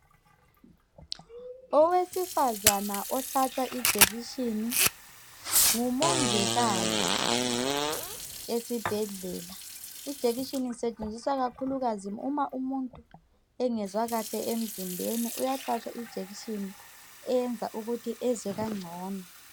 Owesifazana ohlatshwa ijekiseni ngumongikazi esibhedlela. Ijekiseni isetshenziswa ikakhulukazi uma umuntu engezwa kahle emzimbeni uyahlwatshwa ijekiseni eyenza ezwe ngcono